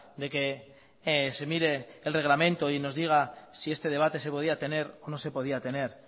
de que se mire el reglamento y nos diga si este debate se podía tener o no se podía tener